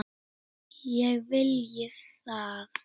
Ég vilji það?